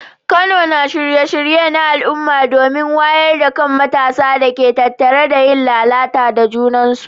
Kano na shirya shirye-shirye na al’umma domin wayar da kan matasa illar da ke tattare da yin lalata da juna.